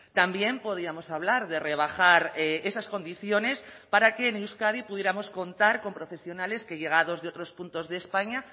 también podíamos hablar de rebajar esas condiciones para que en euskadi pudiéramos contar con profesionales que llegados de otros puntos de españa